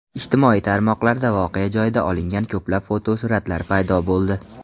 Ijtimoiy tarmoqlarda voqea joyida olingan ko‘plab fotosuratlar paydo bo‘ldi.